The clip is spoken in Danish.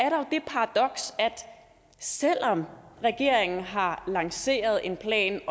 selv om regeringen har lanceret en plan